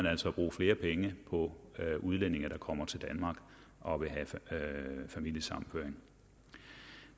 altså at bruge flere penge på udlændinge der kommer til danmark og vil have familiesammenføring